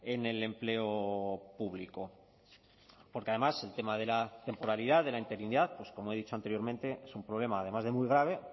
en el empleo público porque además el tema de la temporalidad de la interinidad pues como he dicho anteriormente es un problema además de muy grave